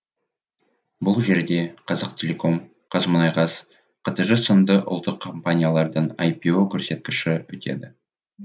бұл жерде қазақтелеком қазмұнайгаз қтж сынды ұлттық компаниялардың айпю көрсеткіші өтеді